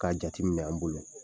K'a jati minɛ an bolo.